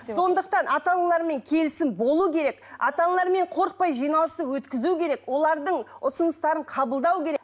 сондықтан ата аналармен келісім болу керек ата аналармен қорықпай жиналысты өткізу керек олардың ұсыныстарын қабылдау керек